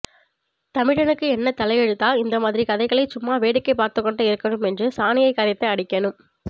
தமிழனுக்கு என்ன தலைஎழுத்தா இந்த மாதிரி கழுதைகளை சும்மா வேடிக்கை பார்த்துக்கொண்டு இருக்கணும் என்று சானியை கரைத்து அடிக்கனும்